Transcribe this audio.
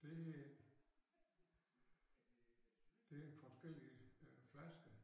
Det her det forskellige øh flasker